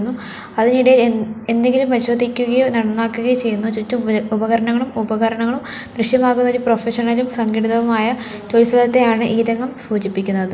അതിനിടെ എന്ത് എന്തെങ്കിലും പരിശോധിക്കുകയോ നന്നാക്കുകയോ ചെയ്യുന്നു ചുറ്റും ഉപകരണങ്ങളും ഉപകരണങ്ങളും ദൃശ്യമാകുന്ന ഒരു പ്രൊഫഷണലും സംഘടിതവുമായ ജോലി സ്ഥലത്തെയാണ് ഈ രംഗം സൂചിപ്പിക്കുന്നത്.